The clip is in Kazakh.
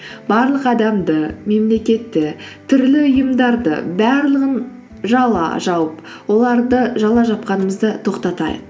барлық адамды мемлекетті түрлі ұйымдарды барлығын жала жауып оларды жала жапқанымызды тоқтатайық